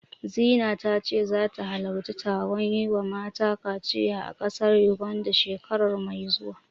Zina ta ce zata halarci taron yi wa mata kaciya a ƙasar Yuganda, shekara mai zuwa.